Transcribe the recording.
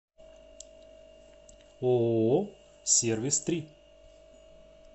ооо сервис три